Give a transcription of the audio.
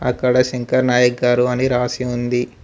అక్కడ శంకర్ నాయక్ గారు అని రాసి ఉంది.